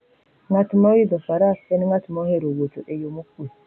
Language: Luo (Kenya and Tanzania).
Ng'at moidho faras en ng'at mohero wuotho e yo mokuwe.